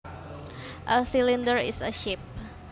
A cylinder is a shape